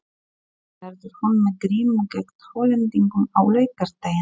Verður hún með grímu gegn Hollendingum á laugardaginn?